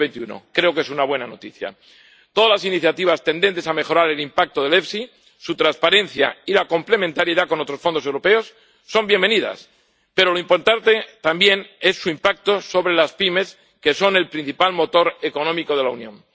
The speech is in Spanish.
2021. Creo que es una buena noticia. Todas las iniciativas tendentes a mejorar el impacto del FEIE, su transparencia y la complementariedad con otros fondos europeos son bienvenidas, pero lo importante también es su impacto sobre las pymes, que son el principal motor económico de la Unión.